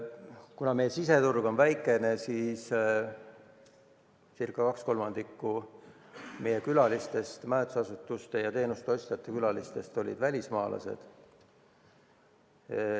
Kuna meie siseturg on väike, siis ca 2/3 meie külalistest, majutusasutuste teenuste ostjatest, olid välismaalased.